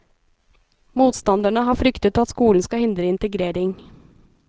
Motstanderne har fryktet at skolen skal hindre integrering.